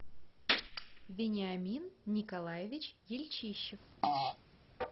вениамин николаевич ельчищев